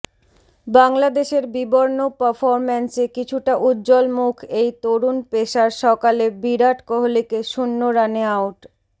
বাংলাদেশের বিবর্ণ পারফরম্যান্সে কিছুটা উজ্জ্বল মুখ এই তরুণ পেসার সকালে বিরাট কোহলিকে শূন্য রানে আউট